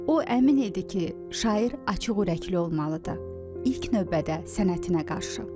O əmin idi ki, şair açıq ürəkli olmalıdır, ilk növbədə sənətinə qarşı.